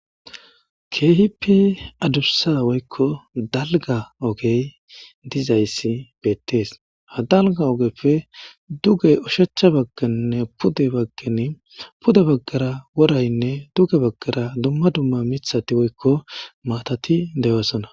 Kehippe adusa woyikko daliga ogeyi dizayisi bette's .haa daligga ogeyi dizayisi bette's.haa daliga ogeppe duge oshshachcha baganne pude baganne ,pude bagara